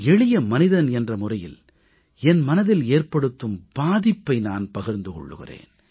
எளிய மனிதன் என்ற முறையில் என் மனதில் ஏற்படுத்தும் பாதிப்பை நான் பகிர்ந்து கொள்கிறேன்